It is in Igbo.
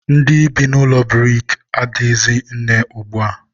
ndị bi n'ụlọ buriki ehighizi nne ugbua.